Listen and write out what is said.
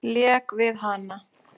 Lék við hana.